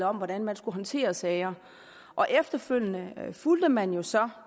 om hvordan man skulle håndtere sager og efterfølgende fulgte man jo så